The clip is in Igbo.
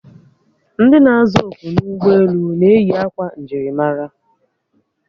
Ndị na-aza oku n'ụgbọelu na-eyi akwa njirimara